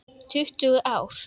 Tuttugu ár!